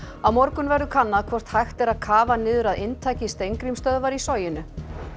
á morgun verður kannað hvort hægt er að kafa niður að inntaki í Soginu